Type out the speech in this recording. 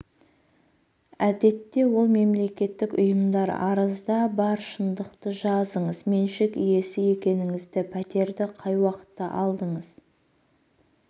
әдетте ол мемлекеттік ұйымдар арызда бар шындықты жазыңыз меншік иесі екеніңізді пәтерді қай уақытта алдыңыз